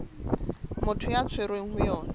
motho a tshwerweng ho yona